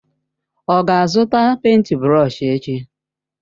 Ọ ga-azụta pèịnt brọsh echi?